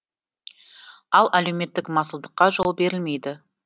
ал әлеуметтік масылдыққа жол берілмейді